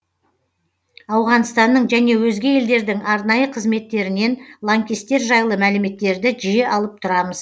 ауғанстанның және өзге елдердің арнайы қызметтерінен лаңкестер жайлы мәліметтерді жиі алып тұрамыз